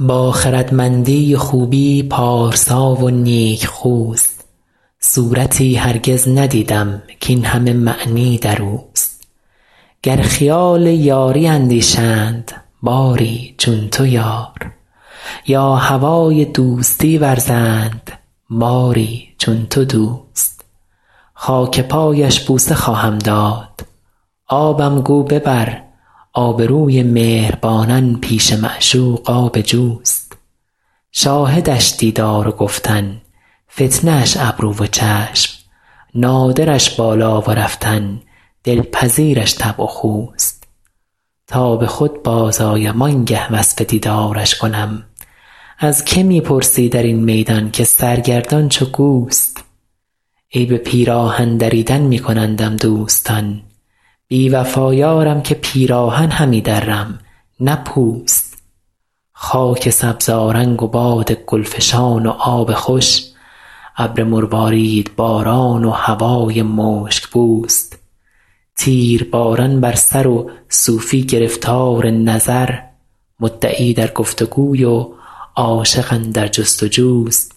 با خردمندی و خوبی پارسا و نیکخوست صورتی هرگز ندیدم کاین همه معنی در اوست گر خیال یاری اندیشند باری چون تو یار یا هوای دوستی ورزند باری چون تو دوست خاک پایش بوسه خواهم داد آبم گو ببر آبروی مهربانان پیش معشوق آب جوست شاهدش دیدار و گفتن فتنه اش ابرو و چشم نادرش بالا و رفتن دلپذیرش طبع و خوست تا به خود بازآیم آن گه وصف دیدارش کنم از که می پرسی در این میدان که سرگردان چو گوست عیب پیراهن دریدن می کنندم دوستان بی وفا یارم که پیراهن همی درم نه پوست خاک سبزآرنگ و باد گل فشان و آب خوش ابر مرواریدباران و هوای مشک بوست تیرباران بر سر و صوفی گرفتار نظر مدعی در گفت وگوی و عاشق اندر جست وجوست